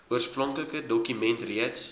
oorspronklike dokument reeds